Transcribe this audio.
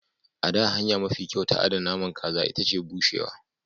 A da, hanya mafi kyau ta adana naman kaza ita ce bushewa.